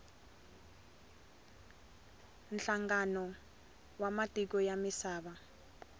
nhlangano wa matiko ya misava